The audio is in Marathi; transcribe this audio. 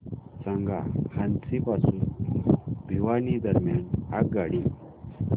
सांगा हान्सी पासून भिवानी दरम्यान आगगाडी